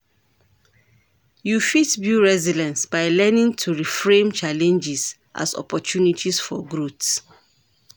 You fit build resilience by learning to reframe challenges as opportunities for growth.